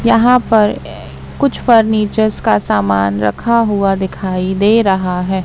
यहां पर कुछ फर्नीचर्स का सामान रखा हुआ दिखाई दे रहा है।